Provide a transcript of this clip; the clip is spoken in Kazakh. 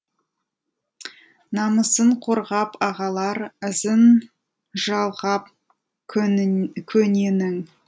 намысын қорғап ағалар ізін жалғап көненің